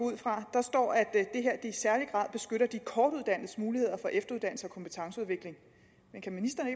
der står at det her i særlig grad beskytter de kortuddannedes muligheder for efteruddannelse og kompetenceudvikling men kan ministeren